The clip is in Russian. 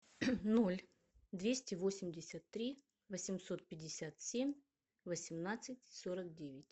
ноль двести восемьдесят три восемьсот пятьдесят семь восемнадцать сорок девять